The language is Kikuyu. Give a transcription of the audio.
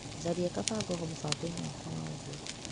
Tharia kabangoho mũbango-inĩ wakwa wa ũgũri .